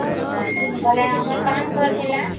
ବେଲେ ଆମର କାମ ଘର ଥିଲା